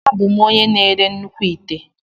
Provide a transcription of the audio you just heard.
Abụ m onye na-ere nnukwu ite.